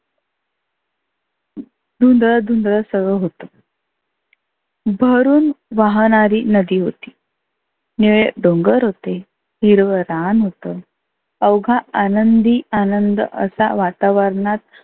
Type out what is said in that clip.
धुंदळ धुंदळ सगळ होतं. भरुन वाहनारी नदी होती. निळे डोंगर होते, हिरवं रान होतं. आवघा आनंदी आनंंद वातावरणात